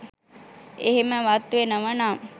එහෙමවත් වෙනවා නම්